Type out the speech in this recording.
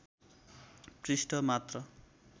पृष्ठ मात्र